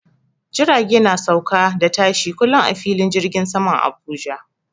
Jirage na sauka da tashi kullum a filin jirgin saman Abuja.